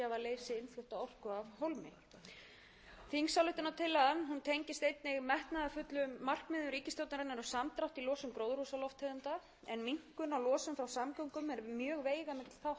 einnig metnaðarfullum markmiðum ríkisstjórnarinnar um samdrátt í losun gróðurhúsalofttegunda en minnkun á losun frá samgöngum er mjög veigamikill þáttur